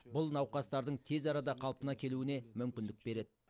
бұл науқастардың тез арада қалпына келуіне мүмкіндік береді